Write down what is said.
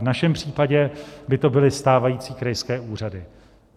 V našem případě by to byly stávající krajské úřady.